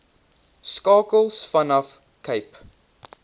skakels vanaf cape